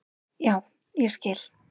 Já, ég skil.